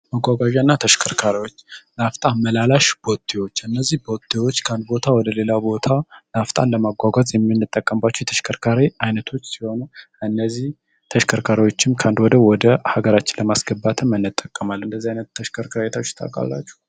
መጓጓዣ እና ተሽከርካሪዎች ናፍጣን መላላሽ ቦቴዎች እነዚህ ቦቴዎች ካንድ ቦታ ወደ ሌላ ቦታ ናፍጣን ለማጓጓት የሚንጠቀንባቸው የተሽከርካሬ አይነቶች ሲሆኑ፤ እነዚህ ተሽከርካሪዎችም ካንድ ወደ ወደ ሀገራችን ለማስገባትም እንጠቀማል። እንደዚህ ዓይነት ተሽከርካሪዎች አይታችሁ ተውቃላችሁ?